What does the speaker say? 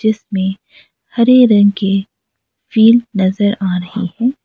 इसमें हरे रंग की फिल्ड नजर आ रही है।